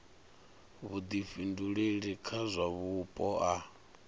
vhuḓifhinduleli kha zwa vhupo a